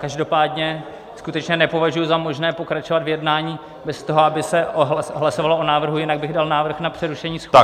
Každopádně skutečně nepovažuji za možné pokračovat v jednání bez toho, aby se hlasovalo o návrhu, jinak bych dal návrh na přerušení schůze.